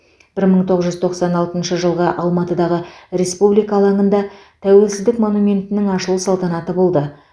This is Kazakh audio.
бір мың тоғыз жүз тоқсан алтыншы жылғы алматыдағы республика алаңында тәуелсіздік монументінің ашылу салтанаты болды